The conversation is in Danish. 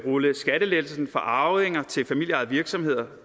at rulle skattelettelsen for arvinger til familieejede virksomheder